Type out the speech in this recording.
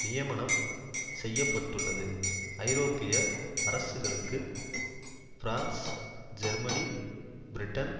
நியமனம் செய்ய பட்டுள்ளது ஐரோப்பிய அரசுகளுக்கு பிரான்ஸ் ஜெர்மனி பிரிட்டன்